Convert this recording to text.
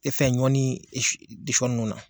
E tɛ fɛ ɲɔ ni sɔn ninnu na.